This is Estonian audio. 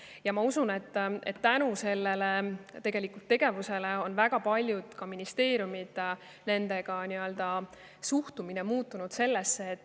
Ja ma usun, et tänu sellele tegevusele on väga paljude ministeeriumide suhtumine muutunud.